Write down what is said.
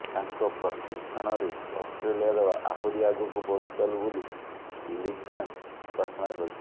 ତାଙ୍କ ପ୍ରଶିକ୍ଷଣରେ ଅଷ୍ଟ୍ରେଲିଆ ଦଳ ଆହୁରି ଆଗକୁ ବଢ଼ିଚାଲୁ ବୋଲି ଲିମ୍ୟାନ୍ ପ୍ରାର୍ଥନା କରିଛନ୍ତି